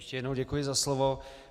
Ještě jednou děkuji za slovo.